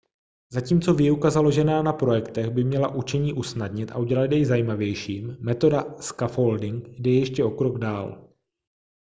zatímco výuka založená na projektech by měla učení usnadnit a udělat jej zajímavějším metoda scaffolding jde ještě o krok dál